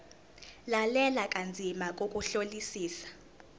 lalela kanzima ngokuhlolisisa